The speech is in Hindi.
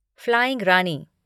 फ्लाइंग रानी